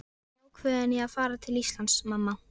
Ég er ákveðinn í að fara til Íslands, mamma.